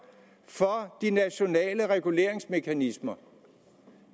for de nationale reguleringsmekanismer